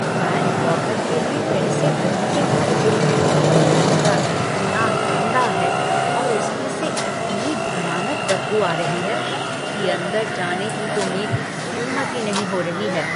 Bank locker के लिए पैसे भरने के बावजूद, वह कमरा इतना गंदा है और उसमें से इतनी भयानक बदबू आ रही है कि अंदर जाने की तो मेरी हिम्मत ही नहीं हो रही है।